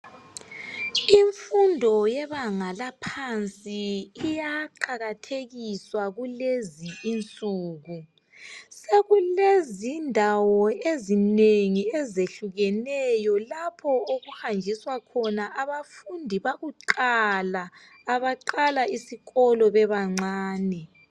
Imfundo yebanga laphansi iyaqakathekiswa kulezinsuku sekulezindawo ezinengi ezehlukeneyo lapho okuhanjiswa khona abafundi bakuqala, abaqala isikolo bebancane.